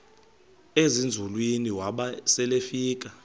ezinzulwini waba selefika